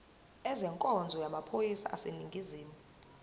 ezenkonzo yamaphoyisa aseningizimu